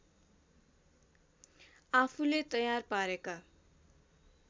आफूले तयार पारेका